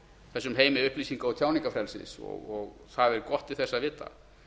þessum heimi upplýsinga og tjáningarfrelsi og það er gott til þess að vita